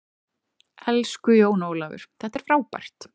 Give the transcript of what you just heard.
Elsku Jón Ólafur, þetta er frábært.